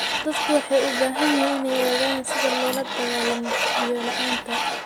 Dadku waxay u baahan yihiin inay ogaadaan sida loola dagaallamo biyo-la'aanta.